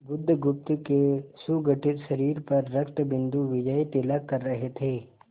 बुधगुप्त के सुगठित शरीर पर रक्तबिंदु विजयतिलक कर रहे थे